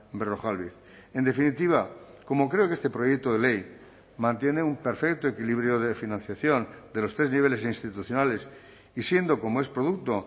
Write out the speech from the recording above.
berrojalbiz en definitiva como creo que este proyecto de ley mantiene un perfecto equilibrio de financiación de los tres niveles institucionales y siendo como es producto